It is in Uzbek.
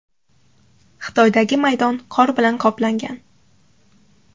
Xitoydagi maydon qor bilan qoplangan.